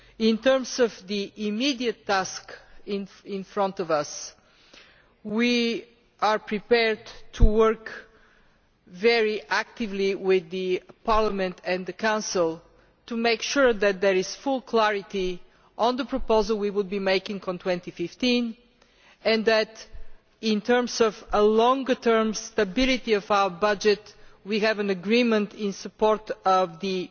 In terms of the immediate task facing us, we are prepared to work very actively with Parliament and the Council to make sure that there is full clarity on the proposal we will be making concerning 2015, and that, in terms of a longer term stability of our budget, we have an agreement in support of the